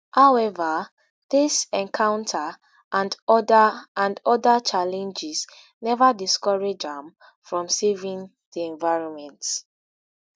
however dis encounter and oda and oda challenges neva discourage am from saving di environment.